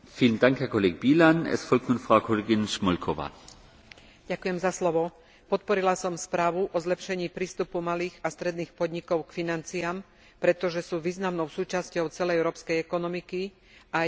Podporila som správu o zlepšení prístupu malých a stredných podnikov k financiám, pretože sú významnou súčasťou celej európskej ekonomiky a aj pri malej podpore vedia veľmi pružne reagovať na trh a vytvárať nové pracovné miesta.